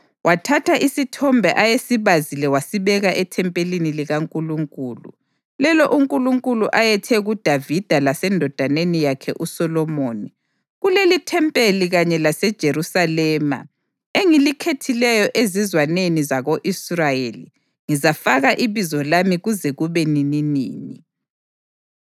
Wathatha isithombe ayesibazile wasibeka ethempelini likaNkulunkulu, lelo uNkulunkulu ayethe kuDavida lasendodaneni yakhe uSolomoni, “Kulelithempeli kanye laseJerusalema, engilikhethileyo ezizwaneni zako-Israyeli, ngizafaka iBizo lami kuze kube nininini.